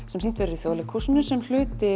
sem sýnt verður í Þjóðleikhúsinu sem hluti